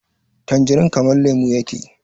tanjirin kamar lemo yake